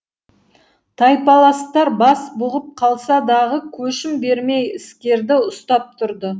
тайпаластар бас бұғып қалса дағы көшім бермей іскерді ұстап тұрды